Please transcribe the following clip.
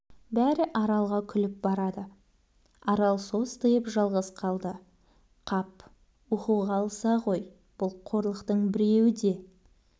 бәрі аралға күліп барады арал состиып жалғыз қалды қап оқуға алса ғой бұл қорлықтың біреуі де